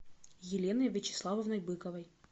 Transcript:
еленой вячеславовной быковой